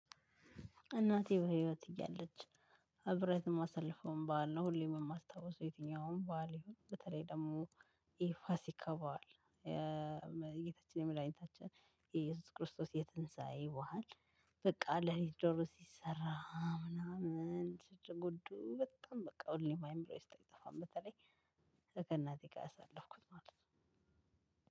እናቴ በህይወት እያለች አብሬያት የማሳልፈውን በዓል ነው፤ ሁሌም የማስታውሰው የትኛውም በዓል ይሁን በተለይ ደግሞ የፋሲካ በዓል። ጌታችን መድኃኒታችን ኢየሱስ ክርስቶስ የትንሳኤ በዓል። በቃ ለሊት ዶሮ ሲሰራ ምናምን ሽድ ጉዱ በጣም በቃ ሁሌ አይምሮየ ውስጥ አይጠፋም፤ በተለይ ከእናቴ ጋር ያሳለፍኩት ማለት ነው